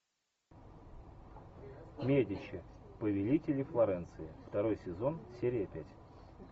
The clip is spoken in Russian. медичи повелители флоренции второй сезон серия пять